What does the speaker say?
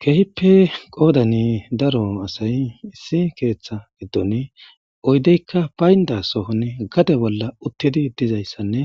keehippe qoodani daro asay issi keeththa giddon oydeykka baynda sohon gade bolla uttedi dizayssanne